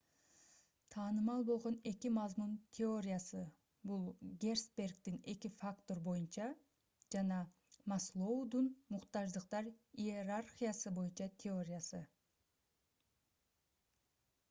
таанымал болгон эки мазмун теориясы бул герцбергдин эки фактор боюнча жана маслоудун муктаждыктар иерархиясы боюнча теориясы